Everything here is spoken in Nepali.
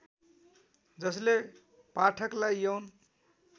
जसले पाठकलाइ यौन